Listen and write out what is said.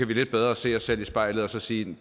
vi lidt bedre se os selv i spejlet og sige